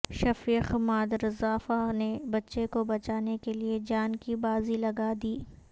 شفیق مادرزرافہ نے بچے کو بچانے کیلئے جان کی بازی لگادی